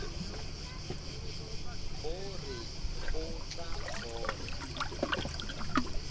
o re o tla fola